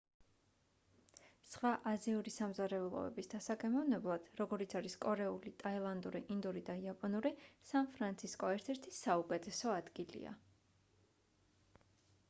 სხვა აზიური სამზარეულოების დასაგემოვნებლად როგორიც არის კორეული ტაილანდური ინდური და იაპონური სან ფრანცისკო ერთ-ერთი საუკეთესო ადგილია